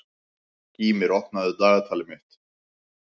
Gýmir, opnaðu dagatalið mitt.